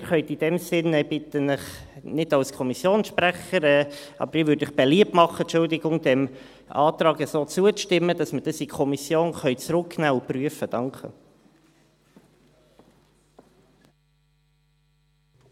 Ich bitte Sie nicht als Kommissionssprecher, aber ich würde Ihnen beliebt machen, entschuldigen Sie, diesem Antrag so zuzustimmen, damit wir das in die Kommission zurücknehmen und prüfen können.